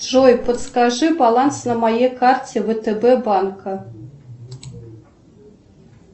джой подскажи баланс на моей карте втб банка